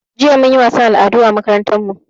Jiya mun yi wasan al'adu a makarantan mu